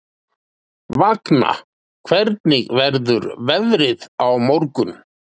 Vagna, hvernig verður veðrið á morgun?